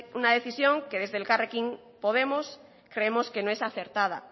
una decisión que desde elkarrekin podemos creemos que no es acertada